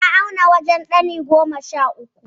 Ya auna wajen ɗani goma sha uku.